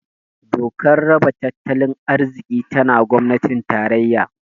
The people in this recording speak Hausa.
Dokar raba tattalin arziki tana gwamnatin tarayya